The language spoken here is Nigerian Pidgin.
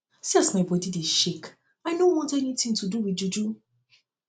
see as my body dey shake i no um um want anything to do with juju